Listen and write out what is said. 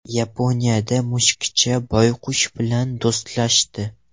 Yaponiyada mushukcha boyqush bilan do‘stlashdi .